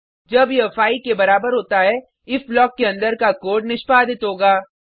जब यह 5 के बराबर होता है इफ ब्लॉक के अंदर का कोड निष्पादित होगा